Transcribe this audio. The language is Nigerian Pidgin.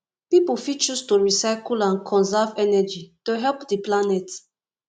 pipo fit choose to recycle and conserve energy to help di planet